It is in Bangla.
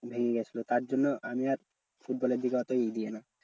ভেঙ্গে গেছলো তার জন্য আমি আর ফুটবলের দিকে অত ই দিই না।